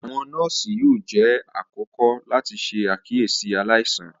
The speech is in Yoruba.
Awọn nọọsi yóò jẹ àkọ́kọ́ láti ṣe àkíyèsí aláìsàn